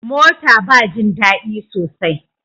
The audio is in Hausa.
Mota ba jin dadi sosai.